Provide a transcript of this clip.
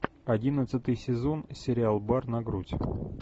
одиннадцатый сезон сериал бар на грудь